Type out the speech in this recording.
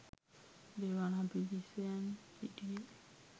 දේවානම්පියතිස්සයන් සිටියේ